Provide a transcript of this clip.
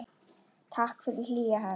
Takk fyrir hlýja hönd.